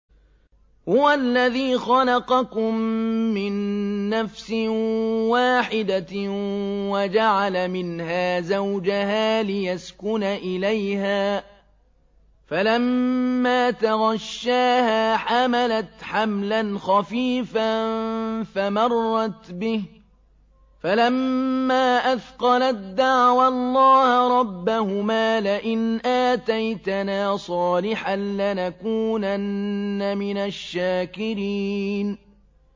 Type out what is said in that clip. ۞ هُوَ الَّذِي خَلَقَكُم مِّن نَّفْسٍ وَاحِدَةٍ وَجَعَلَ مِنْهَا زَوْجَهَا لِيَسْكُنَ إِلَيْهَا ۖ فَلَمَّا تَغَشَّاهَا حَمَلَتْ حَمْلًا خَفِيفًا فَمَرَّتْ بِهِ ۖ فَلَمَّا أَثْقَلَت دَّعَوَا اللَّهَ رَبَّهُمَا لَئِنْ آتَيْتَنَا صَالِحًا لَّنَكُونَنَّ مِنَ الشَّاكِرِينَ